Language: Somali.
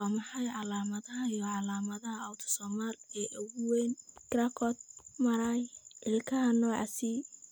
Waa maxay calamadaha iyo calaamadaha Autosomal ee ugu weyn Charcot Marie Ilkaha nooca C?